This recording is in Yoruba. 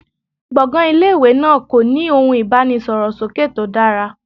Gbọ̀ngàn ilé ìwé náà kò ní ohun ìbánisọ̀rọ̀ sókè tó dára.